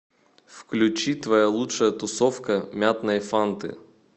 включи твоя лучшая тусовка мятной фанты